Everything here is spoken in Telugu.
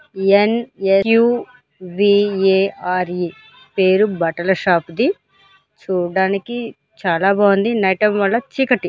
ఎన్_ఎస్_క్యూ_వి_ఏ_ ఆర్_ఈ పేరు బట్టల షాపు ది చూడ్డానికి చాలా బాగుంది నైట్ టైం వల్ల చీకటి.